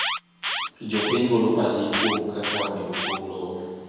Jopiny golo pachgi kuom kaka onego pog lowo.